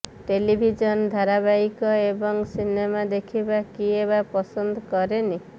television ଧାରାବାହୀକ ଏବଂ cinema ଦେଖିବା କିଏ ବା ପସନ୍ଦ କରେନି